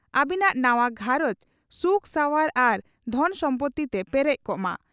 ᱾ᱟᱹᱵᱤᱱᱟᱜ ᱱᱟᱣᱟ ᱜᱷᱟᱨᱚᱸᱡᱽ ᱥᱩᱠ ᱥᱟᱶᱟᱨ ᱟᱨ ᱫᱷᱚᱱ ᱥᱚᱢᱯᱳᱛᱤ ᱛᱮ ᱯᱮᱨᱮᱡ ᱠᱚᱜ ᱢᱟ ᱾